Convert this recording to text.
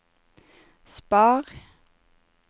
spar